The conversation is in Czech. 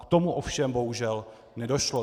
K tomu ovšem bohužel nedošlo.